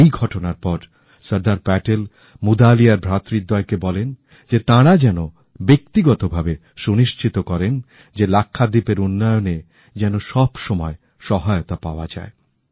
এই ঘটনার পর সর্দার প্যাটেল মুদালিয়ার ভ্রাতৃদ্বয় কে বলেন যে তাঁরা যেন ব্যক্তিগত ভাবে সুনিশ্চিত করেন যে লাক্ষাদ্বীপের উন্নয়নে যেন সবরকম সহায়তা পাওয়া যায়